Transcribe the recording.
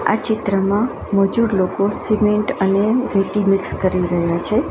આ ચિત્રમાં મજૂર લોકો સિમેન્ટ અને રેતી મિક્સ કરી રહ્યા છે.